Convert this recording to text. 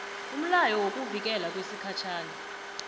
umlayo wokuvikelwa wesikhatjhana